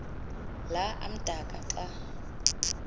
la amdaka xa